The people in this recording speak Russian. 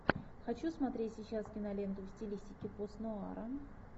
хочу смотреть сейчас киноленту в стилистике пост нуара